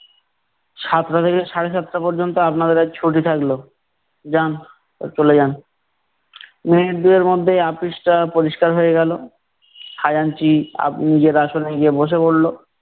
সাতটা থেকে সাড়ে সাতটা পর্যন্ত আপনাদের আজ ছুটি থাকলো। যান, চলে যান। মিনিট দুয়ের মধ্যে আপিসটা পরিষ্কার হয়ে গেলো। খাজাঞ্চি আপনি নিজের আসনে গিয়ে বসে পরলো।